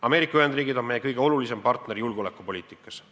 Ameerika Ühendriigid on meie kõige olulisem partner julgeolekupoliitikas.